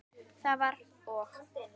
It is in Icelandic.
Það var og!